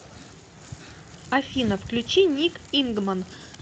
афина включи ник ингман